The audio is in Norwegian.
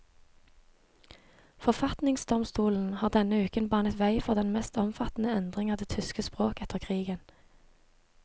Forfatningsdomstolen har denne uken banet vei for den mest omfattende endring av det tyske språk etter krigen.